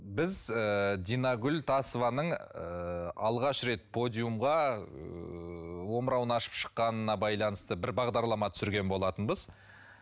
біз ыыы динагүл тасованың ыыы алғаш рет подиумға ыыы омырауын ашып шыққанына байланысты бір бағдарлама түсірген болатынбыз